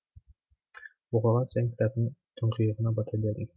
оқыған сайын кітаптың тұңғиығына бата бердім